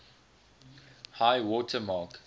high water mark